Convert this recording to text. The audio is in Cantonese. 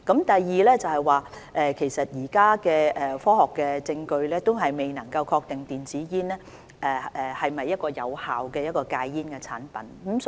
第二，現時的科學證據仍未能確定電子煙是否有效的戒煙產品。